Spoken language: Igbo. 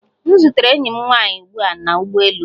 M zutere enyi m nwanyị ugbu a na ụgbọ elu